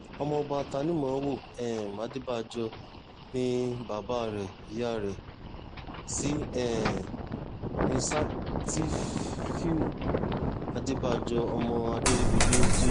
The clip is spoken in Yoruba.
ọmọọba tanimówo um adébàjọ ni bàbá rẹ̀ ìyá rẹ̀ sí um ní ṣátífíù adébàjọ ọmọ adèrìbígbé jb